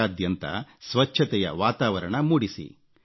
ದೇಶಾದ್ಯಂತ ಸ್ವಚ್ಛತೆಯ ವಾತಾವರಣ ಮೂಡಿಸಿ